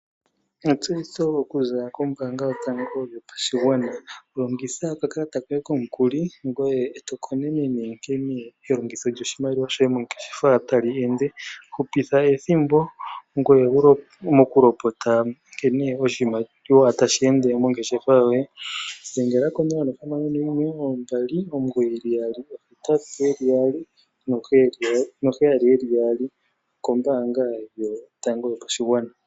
Etseyitho okuza kombaanga yotango yopashigwana . Longitha okakalata koye komukuli ngoye eto konenene nkene elongitho lyoshimaliwa shoye mongeshefa tali ende. Hupitha ethimbo mokulopota nkene oshimaliwa tashi ende mongeshefa yoye dhebgela 061 2998877okombaanga yotango yopashigwana.